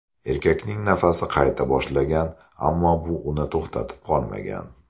Erkakning nafasi qayta boshlagan, ammo bu uni to‘xtatib qolmagan.